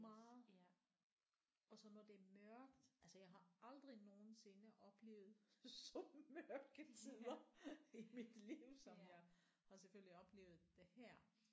Meget og så når det er mørkt altså jeg har aldrig nogensinde oplevet så mørke tider i mit liv som jeg har selvfølgelig oplevet det her